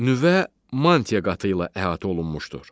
Nüvə mantia qatı ilə əhatə olunmuşdur.